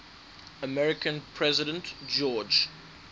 american president george